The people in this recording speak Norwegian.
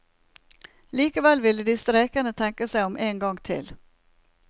Likevel ville de streikende tenke seg om en gang til.